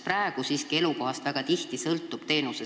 Praegu siiski sõltub teenuse saamise võimalus väga tihti elukohast.